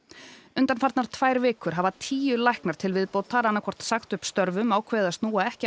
undanfarnar tvær vikur hafa tíu læknar til viðbótar annaðhvort sagt upp störfum ákveðið að snúa ekki